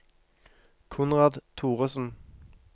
Konrad Thoresen